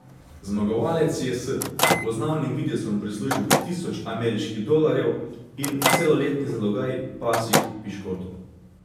Zmagovalec si je s prepoznavnim videzom prislužil tisoč ameriških dolarjev in celoletni zalogaj pasjih piškotov.